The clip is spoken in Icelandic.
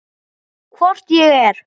Hvort ég er.